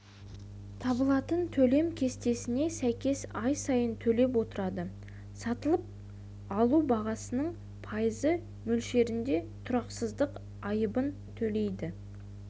табылатын төлем кестесіне сәйкес ай сайын төлеп отырады сатып алу бағасының пайызы мөлшерінде тұрақсыздық айыбын төлейді